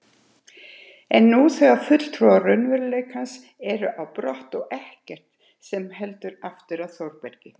Og nú þegar fulltrúar raunveruleikans eru á brott er ekkert sem heldur aftur af Þórbergi.